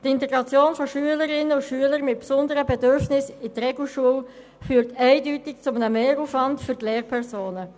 Die Integration von Schülerinnen und Schülern mit besonderen Bedürfnissen in die Regelschule führt eindeutig zu einem Mehraufwand für die Lehrpersonen.